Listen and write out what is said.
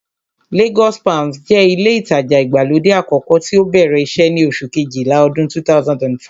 Lagos palms jẹ́ ilé ìtajà ìgbàlódé àkọ́kọ́ tí ó bẹ̀rẹ̀ iṣẹ́ ní oṣù kejìlá ọdún 2005